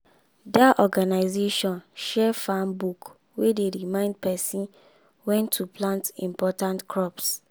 that organization share farm book wey dey remind pesin when to plant important crops.